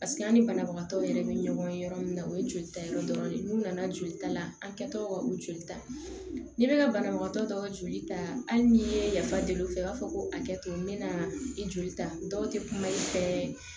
Paseke an ni banabagatɔw yɛrɛ bɛ ɲɔgɔn yɔrɔ min na o ye jolita yɔrɔ dɔ de ye n'u nana joli ta la an kɛtɔ ka u joli ta ni bɛ ka banabagatɔ dɔw joli ta hali n'i ye yafa deli u fɛ u b'a fɔ ko hakɛto n bɛna i joli ta dɔw tɛ kuma i fɛ